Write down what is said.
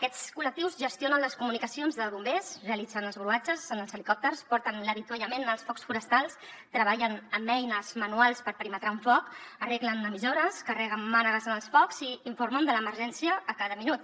aquests col·lectius gestionen les comunicacions de bombers realitzen els gruatges en els helicòpters porten l’avituallament als focs forestals treballen amb eines manuals per perimetrar un foc arreglen emissores carreguen mànegues en els focs i informen de l’emergència a cada minut